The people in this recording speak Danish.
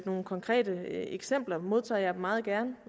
nogle konkrete eksempler modtager jeg dem meget gerne